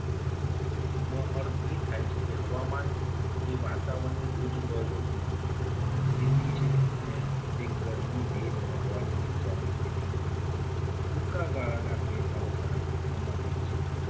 નો અર્થ એ થાય છે. કે હવામાન એ વાતાવરણની રોજબરોજની સ્થિતિ છે. અને તે ગરમી ભેજ અને હવાની ની સ્થિતિમાં ટૂંકા ગાળાના ફેરફારો સાથે સંબંધિત છે.